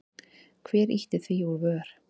Hver ýtti því úr vör?